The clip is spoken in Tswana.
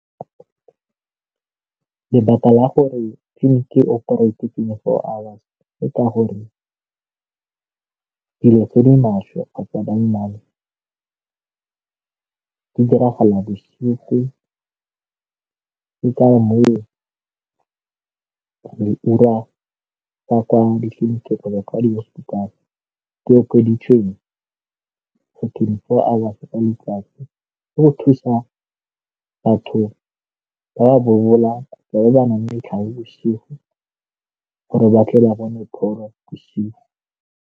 Lebaka la gore tleliniki e operate twenty-four hours ke gore dilo tse di maswe ba nnang di diragala bosigo, ke ka moo ka kwa ditleliniking kgotsa ko di-hospital ke okeditsweng twenty-four ka letsatsi go thusa batho ba ba lebanang bosigo gore ba tle ba bone pholo bosigo.